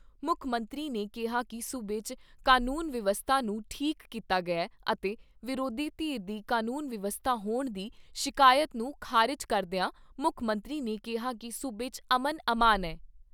ਮੁੱਖ ਮੰਤਰੀ ਨੇ ਕਿਹਾ ਕਿ ਸੂਬੇ 'ਚ ਕਾਨੂੰਨ ਵਿਵਸਥਾ ਨੂੰ ਠੀਕ ਕੀਤਾ ਗਿਆ ਅਤੇ ਵਿਰੋਧੀ ਧਿਰ ਦੀ ਕਾਨੂੰਨ ਵਿਵਸਥਾ ਹੋਣ ਦੀ ਸ਼ਿਕਾਇਤ ਨੂੰ ਖਾਰਿਜ ਕਰਦਿਆਂ ਮੁੱਖ ਮੰਤਰੀ ਨੇ ਕਿਹਾ ਕਿ ਸੂਬੇ 'ਚ ਅਮਨ ਅਮਾਨ ਐ।